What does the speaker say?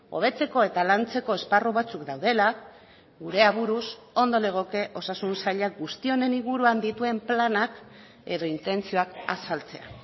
hobetzeko eta lantzeko esparru batzuk daudela gure aburuz ondo legoke osasun sailak guzti honen inguruan dituen planak edo intentzioak azaltzea